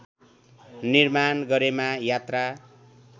निर्माण गरेमा यात्रा